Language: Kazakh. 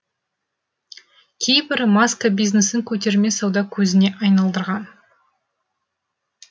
кейбірі маска бизнесін көтерме сауда көзіне айналдырған